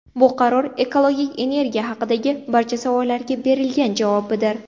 Bu qaror ekologik energiya haqidagi barcha savollarga berilgan javobdir.